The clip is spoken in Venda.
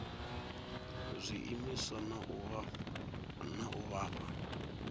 zwiimiswa na u vha fha